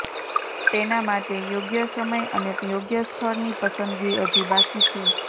તેના માટે યોગ્ય સમય અને યોગ્ય સ્થળની પસંદગી હજી બાકી છે